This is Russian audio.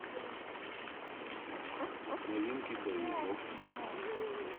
новинки боевиков